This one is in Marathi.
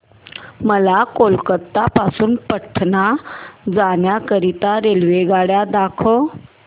मला कोलकता पासून पटणा जाण्या करीता रेल्वेगाड्या दाखवा